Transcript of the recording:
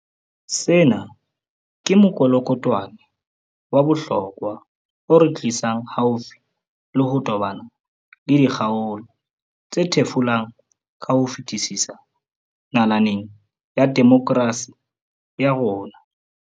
Sena ke mokolokotwane wa bohlokwa o re tlisang haufi le ho tobana le dikgaolo tse thefulang ka ho fetisisa nalaneng ya demokerasi ya rona.